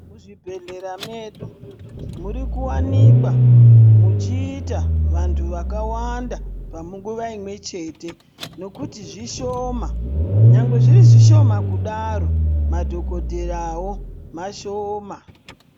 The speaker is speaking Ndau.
Mu zvibhedhlera medu muri kuwanikwa muchi ita vantu vaka wanda panguva imwe chete nekuti zvishoma nyangwe zviri zvishoma kudaro madhokodhera wo mashoma.